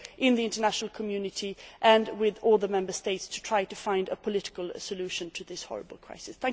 with the international community and with all the Member States to try and find a political solution to this horrible crisis.